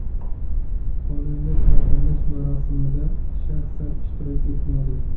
Xonanda taqdirlash marosimida shaxsan ishtirok etmadi.